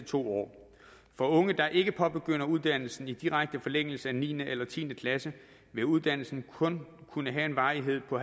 to år for unge der ikke påbegynder uddannelsen i direkte forlængelse af niende eller tiende klasse vil uddannelsen kun kunne have en varighed på